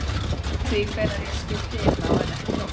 Ég ræð því hvenær ég skipti inná en ekki dómarinn.